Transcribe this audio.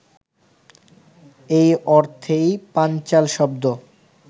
এই অর্থেই পাঞ্চাল শব্দ